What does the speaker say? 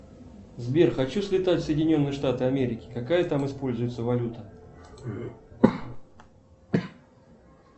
сбер хочу слетать в соединенные штаты америки какая там используется валюта